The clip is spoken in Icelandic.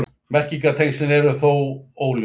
Merkingartengslin eru þó óljós.